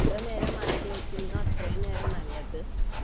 എത്ര നേരം മാറ്റിവെക്കുന്നനോ അത്രയും നല്ലത്